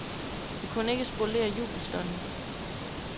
Det kunne ikke spolere jubelstunden.